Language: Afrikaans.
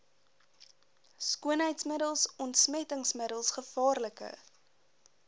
skoonheidsmiddels ontsmettingsmiddels gevaarlike